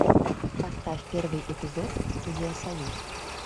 поставь первый эпизод студия союз